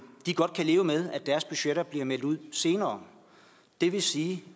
godt kan leve med at deres budgetter bliver meldt ud senere det vil sige